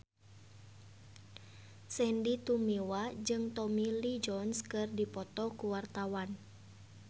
Sandy Tumiwa jeung Tommy Lee Jones keur dipoto ku wartawan